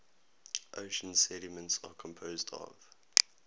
ocean sediments are composed of